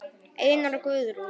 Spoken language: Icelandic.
Einar og Guðrún.